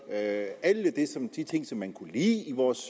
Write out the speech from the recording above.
alle de ting som man kunne lide i vores